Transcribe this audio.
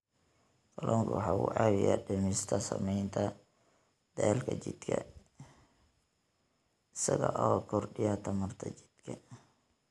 Kalluunku waxa uu caawiyaa dhimista saamaynta daalka jidhka isaga oo kordhiya tamarta jidhka.